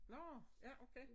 Nårh ja okay